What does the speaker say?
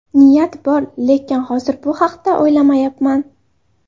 Niyat bor, lekin hozir bu haqda o‘ylamayapman.